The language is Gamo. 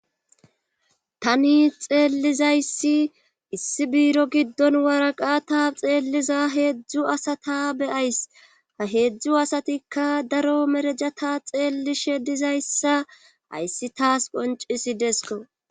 tani xeellizayssi issi biiro giddon waraqa ta xeelliza heedzdzu asata beyays ha heedzdzu asatikka daro merejata xeelli she dizayssa ayssi taas qoncisidesko.